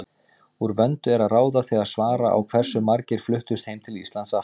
Úr vöndu er að ráða þegar svara á hversu margir fluttust heim til Íslands aftur.